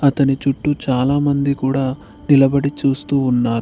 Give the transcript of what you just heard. అతని చుట్టూ చాలామంది కూడా నిలబడి చూస్తూ ఉన్నారు.